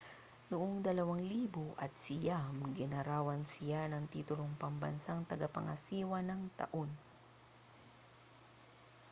noong 2009 ginawaran siya ng titulong pambansang tagapangasiwa ng taon